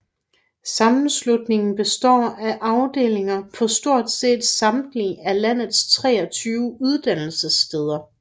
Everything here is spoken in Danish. Sammenslutningen består af afdelinger på stort set samtlige af landets 23 uddannelsessteder